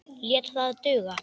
Lét það duga.